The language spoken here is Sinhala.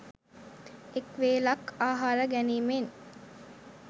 එක් වේලක් ආහාර ගැනීමෙන්